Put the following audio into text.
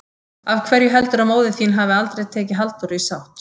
Af hverju heldurðu að móðir þín hafi aldrei tekið Halldóru í sátt?